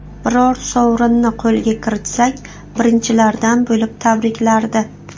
Biror sovrinni qo‘lga kiritsak, birinchilardan bo‘lib tabriklardi.